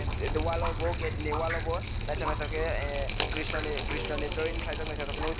dewalo bo gate ni wall o bo naithok naithok khe krishna ni krishna ni drawing khwlaijak naithotok nugui tongo.